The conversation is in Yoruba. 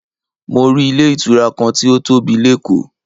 Mo rí ilé ìtura kan tí ó tóbi lékòó.